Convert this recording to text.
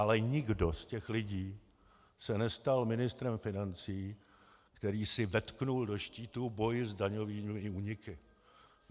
Ale nikdo z těch lidí se nestal ministrem financí, který si vetknul do štítu boj s daňovými úniky.